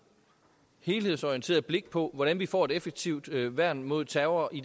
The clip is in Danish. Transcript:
helhedsorienteret blik på hvordan vi får et effektivt værn mod terror